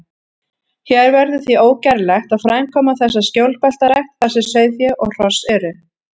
Hér verður því ógerlegt að framkvæma þessa skjólbeltarækt, þar sem sauðfé og hross eru.